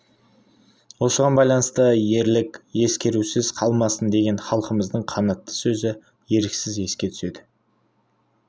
осыған байланысты ерлік ескерусіз қалмасын деген халқымыздың қанатты сөзі еріксіз еске түседі